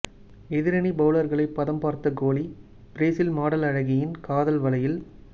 எதிரணி பவுலர்களை பதம் பார்த்த கோலி பிரேசில் மாடல் அழகியின் காதல் வலையில்